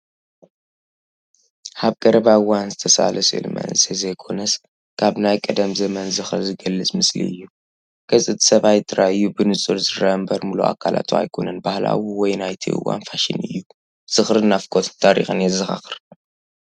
ኣብ ቀረባ እዋን ዝተሳእለ ስእሊ መንእሰይ ዘይኮነስ፡ ካብ ናይ ቀደም ዘመን ዝኽሪ ዝገልጽ ምስሊ እዩ። ገጽ እቲ ሰብኣይ ጥራይ እዩ ብንጹር ዝርአ እምበር ምሉእ ኣካላቱ ኣይኮነን። ባህላዊ ወይ ናይቲ እዋን ፋሽን እዩ። ዝኽርን ናፍቖትን ታሪኽን የዘኻኽር።